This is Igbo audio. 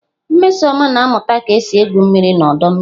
Nmesoma na-amuta ka esi egwu mmiri n'ọdọ mmiri.